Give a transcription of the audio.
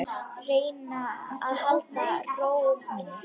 Reyna að halda ró minni.